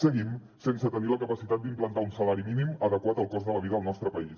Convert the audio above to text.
seguim sense tenir la capacitat d’implantar un salari mínim adequat al cost de la vida del nostre país